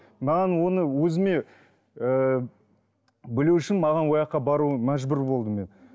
маған оны өзіме ыыы білу үшін маған ол жаққа бару мәжбүр болдым мен